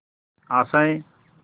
आशाएं